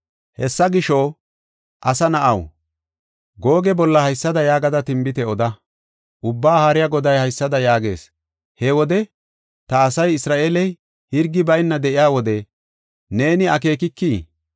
Hessa gisho, asa na7aw, Googe bolla haysada yaagada tinbite oda. Ubbaa Haariya Goday haysada yaagees: “He wode, ta asay Isra7eele hirgi bayna de7iya wode, neeni akeekikii?